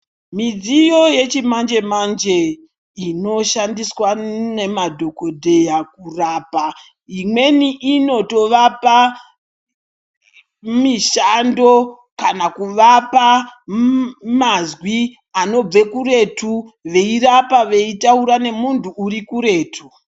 Midziyo yechimanje manje inoshandiswa nemadhokoteya kurapa imweni inotovapa mishando kana kuvapa mazwi anobva kuretu Veirapa veitaura nemunhu uri kuretu.